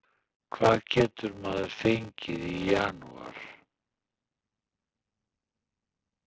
Hvað getur maður fengið í janúar?